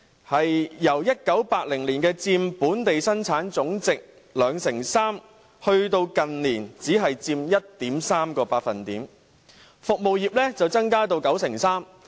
製造業由1980年佔本地生產總值的 23% 跌至近年只佔 1.3%。